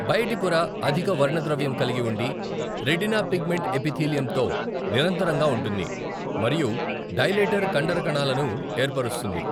బయటి పొర అధిక వర్ణద్రవ్యం కలిగి ఉండి, రెటీనా పిగ్మెంట్ ఎపిథీలియంతో నిరంతరంగా ఉంటుంది మరియు డైలేటర్ కండర కణాలను ఏర్పరుస్తుంది.